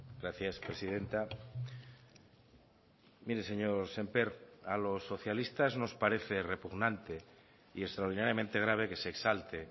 gracias presidenta mire señor sémper a los socialistas nos parece repugnante y extraordinariamente grave que se exalte